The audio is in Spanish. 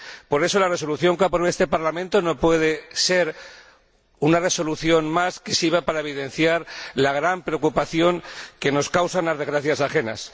Por eso, la resolución que ha aprobado este Parlamento no puede ser una resolución más que sirva para evidenciar la gran preocupación que nos causan las desgracias ajenas.